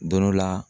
Don dɔ la